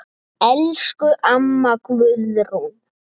Elsku amma Guðrún.